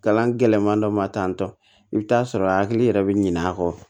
Kalan gɛlɛman dɔ ma tantɔ i bɛ t'a sɔrɔ a hakili yɛrɛ bɛ ɲinɛ a kɔ